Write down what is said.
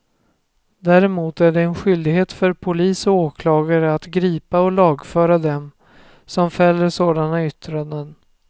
Däremot är det en skyldighet för polis och åklagare att gripa och lagföra dem som fäller sådana yttranden.